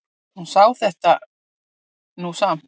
Hún sá þetta nú samt.